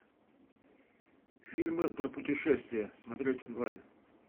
фильмы про путешествия смотреть онлайн